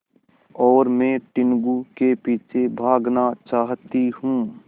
और मैं टीनगु के पीछे भागना चाहती हूँ